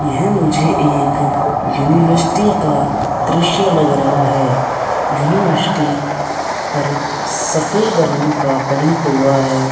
यह मुझे एक यूनिवर्सिटी का दृश्य लग रहा है यूनिवर्सिटी पर सफ़ेद रंग का पैंट हुआ है।